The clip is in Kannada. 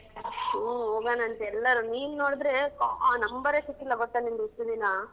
ಹು ಹೋಗಣಂತೆ ಎಲ್ಲರೂ ನೀನ್ ನೋಡಿದ್ರೆ ಓ number ಏ ಸಿಕ್ಕಿಲ್ಲ ಗೊತ್ತ ನಿಂದು ಇಷ್ಟ್ ದಿನ.